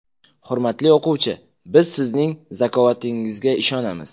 Hurmatli o‘quvchi, biz sizning zakovatingizga ishonamiz.